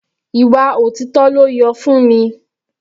Ìwà òtítọ́ ló yọ Funmi.